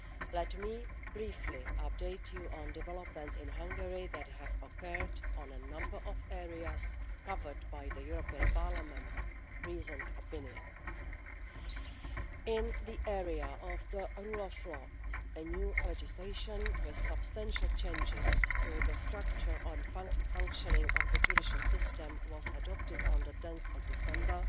Let me briefly update you on developments in Hungary that have occurred in a number of areas covered by the European Parliament's reasoned opinion. In the area of the rule of law, new legislation with substantial changes to the structure and functioning of the judicial system was adopted on 10 December